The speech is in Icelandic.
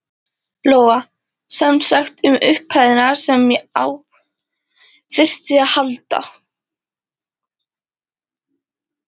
Lóa: Semsagt um upphæðina sem á þyrfti að halda?